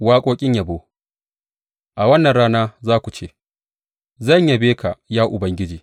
Waƙoƙin yabo A wannan rana za ku ce, Zan yabe ka, ya Ubangiji.